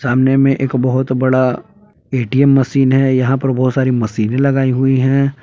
सामने में एक बहोत बड़ा ए_टी_एम मशीन है यहां पर बहुत सारी मशीने लगाई हुई है।